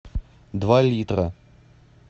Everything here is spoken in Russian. два литра